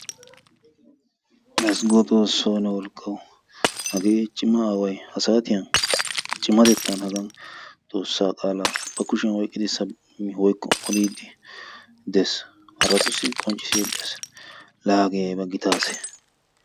Ezggo xoosso ne wolqqawu! Haagge cimma aaway ha saattiyan cimmattetan haggan xoossa qaalla ba kushshiyaani oyqqiddi sabakid woykko odiddi dees haratussi qoncissidi de'ees. La hagge aybba gitta ase!